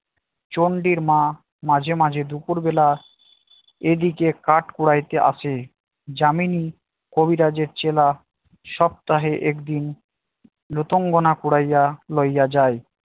চণ্ডীর মা মাঝে মাঝে দুপুর বেলা এদিকে কাঠ কুড়াইতে আসে যামিনী কবিরাজের চেলা সপ্তাহে একদিন। রূপাঙ্গনা কুরাইয়া লইয়া যায়